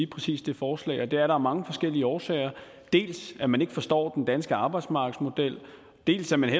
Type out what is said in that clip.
præcis det forslag og det var der af mange forskellige årsager dels at man ikke forstår den danske arbejdsmarkedsmodel dels at man